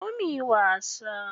Zo muyi wasa.